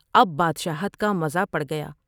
اب بادشاہت کا مزہ پڑ گیا ۔